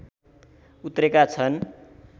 उत्रेका छन्